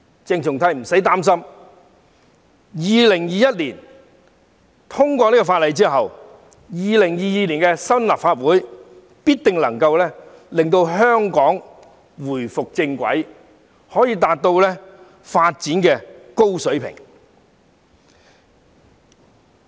鄭松泰議員無須擔心，《條例草案》在2021年通過後 ，2022 年開始的新一屆立法會必定可以令香港回復正軌，達到高水平的發展。